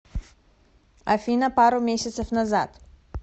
афина пару месяцев назад